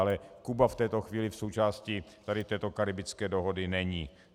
Ale Kuba v této chvíli v součásti tady této karibské dohody není.